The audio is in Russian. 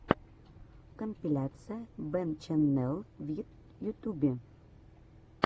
компиляция бэнччэннел в ютьюбе